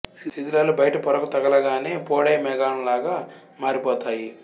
శిథిలాలు బయటి పొరకు తగలగానే పొడై మేఘం లాగా మారిపోతాయి